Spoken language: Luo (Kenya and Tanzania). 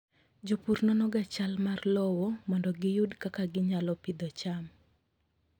Jopur nonoga chal mar lowo mondo giyud kaka ginyalo pidho cham.